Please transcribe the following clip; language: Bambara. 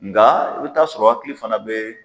Nga i bɛ taa sɔrɔ hakili fana bɛ